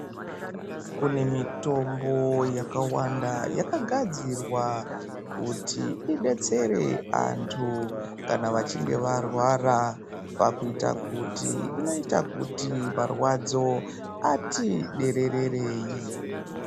Kune mitombo yakawanda yakagadzirwa kuti idetsere antu kana achinge arwara pakuita kuti jnoita kuti marwadzo ati dererei.